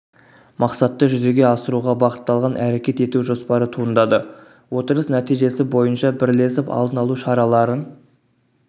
мақсатты жүзеге асыруға бағытталған әрекет ету жоспары туындады отырыс нәтижесі бойынша бірлесіп алдын алу шараларын